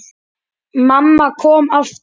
Mamma kom aftur.